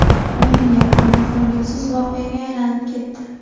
O‘yin yakuni ko‘ngilsiz voqeaga aylanib ketdi.